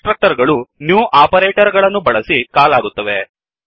ಕನ್ಸ್ ಟ್ರಕ್ಟರ್ ಗಳು new operator ಗಳನ್ನು ಬಳಸಿ ಕಾಲ್ ಆಗುತ್ತವೆ